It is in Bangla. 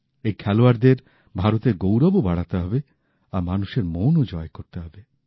এই খেলোয়াড়দের ভারতের গৌরবও বাড়াতে হবে আর মানুষের মনও জয় করতে হবে